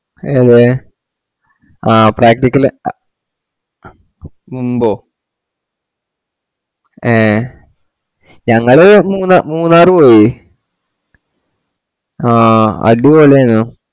A പോയെ ആ practical ആ മുമ്പോ ഏ ഞങ്ങള് മൂന്നാ മൂന്നാറ് പോയി ആ അടിപൊളിയേനു